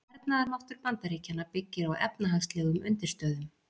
Hernaðarmáttur Bandaríkjanna byggir á efnahagslegum undirstöðum.